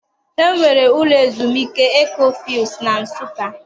E nwere ụlọ ezumike Ekhofills na Nsụka.